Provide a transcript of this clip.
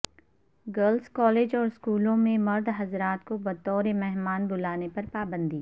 girls college اور اسکولوں میں مرد حضرات کو بطور مہمان بلانے پر پابندی